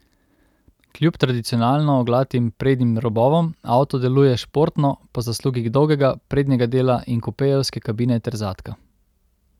Kljub tadicionalno oglatim prednjim robovom avto deluje športno po zaslugi dolgega prednjega dela in kupejevske kabine ter zadka.